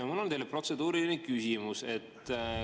Mul on teile protseduuriline küsimus.